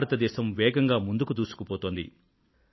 భారతదేశం వేగంగా ముందుకు దూసుకుపోతోంది